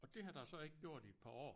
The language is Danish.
Og det har der jo så ikke gjort i et par år